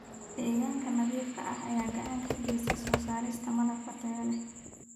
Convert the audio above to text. Deegaanka nadiifka ah ayaa gacan ka geysta soo saarista malab tayo leh.